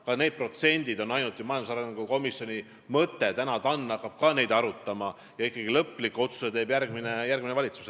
Ka need protsendid on ju ainult majandusarengu komisjoni mõte, täna hakkab ka TAN neid arutama ja lõpliku otsuse teeb ikkagi järgmine valitsus.